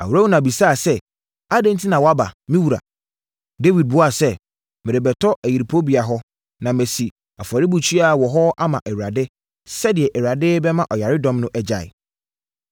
Arauna bisaa sɛ, “Adɛn enti na woaba, me wura?” Dawid buaa sɛ, “Merebɛtɔ ayuporobea hɔ, na masi afɔrebukyia wɔ hɔ ama Awurade, sɛdeɛ Awurade bɛma ɔyaredɔm no agyae.”